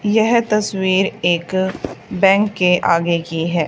यह तस्वीर एक बैंक के आगे की है।